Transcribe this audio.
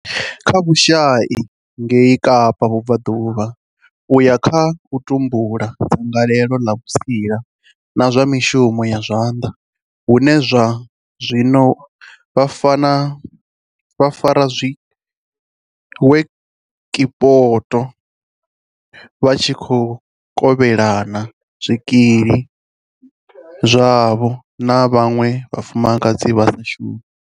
kha vhushai ngei Kapa Vhubvaḓuvha, u ya kha u tumbula dzangalelo ḽa vhutsila na zwa mishumo ya zwanḓa hune zwa zwino vha fara dziwekishopo vha tshi khou kovhelana zwikili zwavho na vhaṅwe vhafumakadzi vha sa shumi.